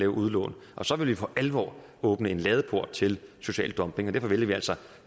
udlån og så vil vi for alvor åbne en ladeport til social dumping derfor vælger vi altså